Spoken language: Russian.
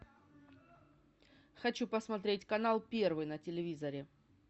хочу посмотреть канал первый на телевизоре